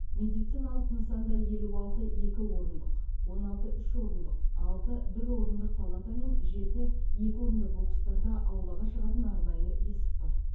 медициналық нысанда елу алты екі орындық огн алты үш орындық алты бір орындық палата мен жеті екі орынды бокстарда аулаға шығатын арнайы есік бар